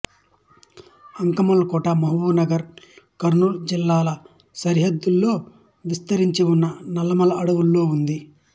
అంకాళమ్మ కోట మహబూబ్ నగర్ కర్నూలు జిల్లాల సరిహద్దులో విస్తరించి ఉన్న నల్లమల అడవులలో ఉంది